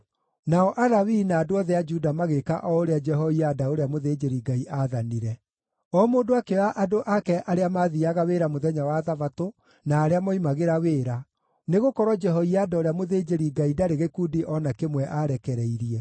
Nao Alawii na andũ othe a Juda magĩĩka o ũrĩa Jehoiada ũrĩa mũthĩnjĩri-Ngai aathanire. O mũndũ akĩoya andũ ake arĩa maathiiaga wĩra mũthenya wa Thabatũ na arĩa moimagĩra wĩra, nĩgũkorwo Jehoiada ũrĩa mũthĩnjĩri-Ngai ndarĩ gĩkundi o na kĩmwe aarekereirie.